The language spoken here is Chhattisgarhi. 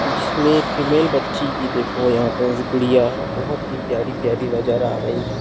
जिसमे फीमेल बच्ची देखने मे गुड़िया बहुत ही प्यारी-प्यारी नज़र आ रही हे।